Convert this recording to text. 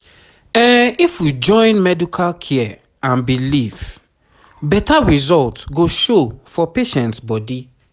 ehm if we join medical care and belief beta result go show for patients bodi